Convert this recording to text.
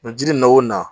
Mɛ jiri na wo na